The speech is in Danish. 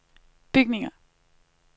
bygninger